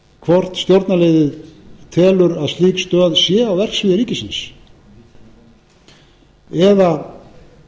telur að slík stöð sé á verksviði ríkisins eða einhvers